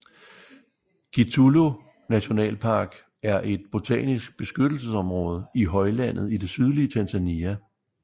Kitulo nationalpark er et botanisk beskyttelsesområde i højlandet i det sydlige Tanzania